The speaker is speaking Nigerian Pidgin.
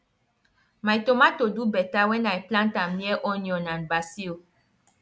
my tomato do better when i plant am near onion and basil